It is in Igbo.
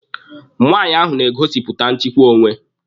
Nwaanyị ahụ na-egosipụta nchịkwa onwe.